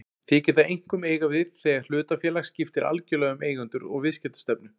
Þykir það einkum eiga við þegar hlutafélag skiptir algjörlega um eigendur og viðskiptastefnu.